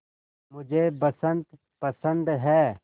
मुझे बसंत पसंद है